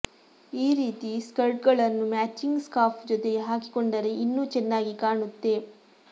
ಈ ರೀತಿ ಸ್ಕರ್ಟ್ಗಳನ್ನು ಮ್ಯಾಚಿಂಗ್ ಸ್ಕಾರ್ಫ್ ಜೊತೆಗೆ ಹಾಕಿಕೊಂಡರೆ ಇನ್ನೂ ಚೆನ್ನಾಗಿ ಕಾಣುತ್ತೆ